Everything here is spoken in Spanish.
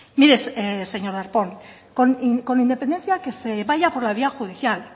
mire señor darpón con independencia que se vaya por la vía judicial